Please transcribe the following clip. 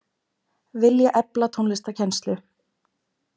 Vilja efla tónlistarkennslu